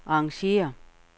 arrangér